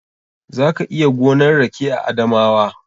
Za ka iya gonan rake a Adamawa.